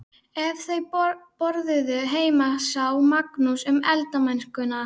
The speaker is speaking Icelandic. Ef þau borðuðu heima sá Magnús um eldamennskuna.